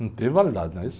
Não teve validade, não é isso?